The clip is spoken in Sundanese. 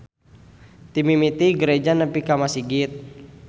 Ti mimiti gareja nepi ka masigit.